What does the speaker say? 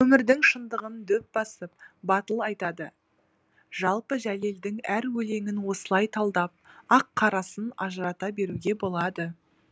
өмірдің шындығын дөп басып батыл айтады жалпы жәлелдің әр өлеңін осылай талдап ақ қарасын ажырата беруге болады